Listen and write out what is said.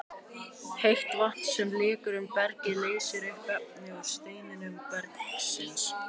Heitt vatn sem leikur um bergið leysir upp efni úr steindum bergsins.